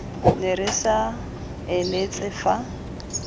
ne re sa eletse fa